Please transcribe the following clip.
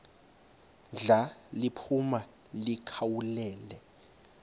ndla liphuma likhawulele